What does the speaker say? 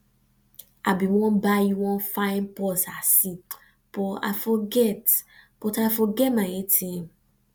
i bin wan buy you wan fine purse i see but i forget but i forget my atm